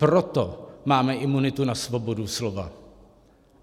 Proto máme imunitu na svobodu slova.